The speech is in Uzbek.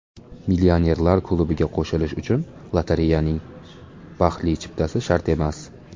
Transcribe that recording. Millionerlar klubiga qo‘shilish uchun lotereyaning baxtli chiptasi shart emas.